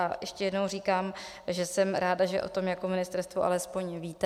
A ještě jednou říkám, že jsem ráda, že o tom jako ministerstvo alespoň víte.